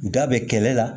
Da bɛ kɛlɛ la